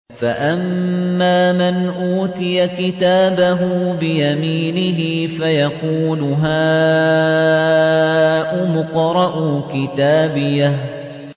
فَأَمَّا مَنْ أُوتِيَ كِتَابَهُ بِيَمِينِهِ فَيَقُولُ هَاؤُمُ اقْرَءُوا كِتَابِيَهْ